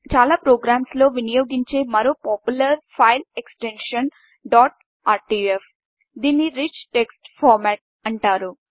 చాలా ప్రోగ్రామ్స్ లో వినియోగించే మరో popular file extension dot RTF దీన్ని రిచ్ టెక్ట్స్ పార్మెట్ అని అంటారు